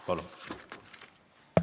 Palun!